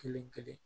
Kelen kelen